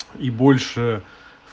и больше